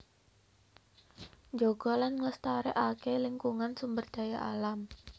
Njaga lan nglestarékaké lingkungan sumber daya alam